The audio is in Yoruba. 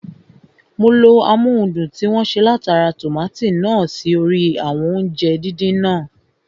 Mo lo amóhundùn tí wọ́n ṣe látara tòmátò náà sí orí àwọn oúnjẹ (fries) náà